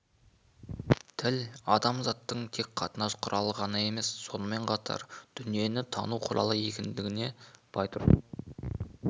тіл адамзаттың тек қатынас құралы ғана емес сонымен қатар дүниені тану құралы екендігін байтұрсынұлы